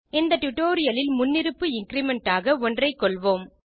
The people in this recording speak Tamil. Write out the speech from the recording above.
இந்த டியூட்டோரியல் இல் முன்னிருப்பு இன்கிரிமெண்ட் ஆக ஒன்றைக்கொள்வோம்